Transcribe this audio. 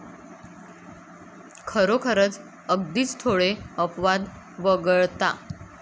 खरोखरच, अगदीच थोडे अपवाद वगळता.